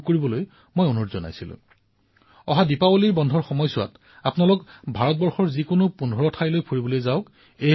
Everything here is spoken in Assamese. আৰু যেতিয়া দিপাৱলীৰ উৎসৱত ছুটিৰ দিনবোৰ উপস্থিত হয় তেতিয়া মানুহে নিশ্চয়কৈ যায় আৰু সেইবাবে মই আপোনালোকক আহ্বান জনাম যে ভাৰতৰ যিকোনো ১৫টা স্থানলৈ নিশ্চয়কৈ ফুৰিবলৈ যাওক